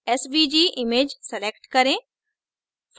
svg image select करें